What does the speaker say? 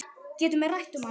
Getum við rætt um hann?